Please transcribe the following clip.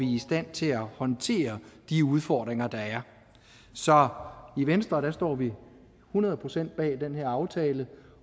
i stand til at håndtere de udfordringer der er så i venstre står vi hundrede procent bag den her aftale